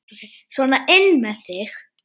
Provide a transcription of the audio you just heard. Sona inn með þig!